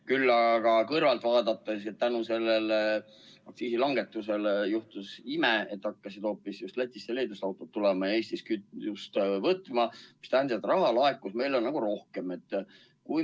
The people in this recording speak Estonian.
Küll aga võib kõrvalt vaadates öelda, et tänu sellele aktsiisilangetusele juhtus ime, et hakkasid hoopis Lätist ja Leedust autod tulema ja Eestis kütust tankima, mis tähendab, et raha laekus meile rohkem.